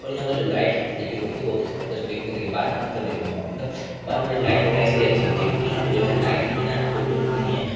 और यहाँ का जो लाइट की फसिलिटी होती हैं बहुत ही जबरदस्त बार का मतलब देखे हम-- बार में जो लाइट वगेरह इसलिए अच्छी होती है क्योंकि यहाँ पे जो हैं लाइट के बिना तो कुछ होती नहीं है।